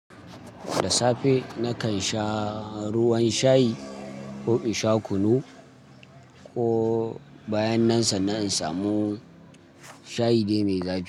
Da safe na kansha ruwan shayi, ko in sha kunu, ko bayan nan sannan in samu shayi dai mai zafi.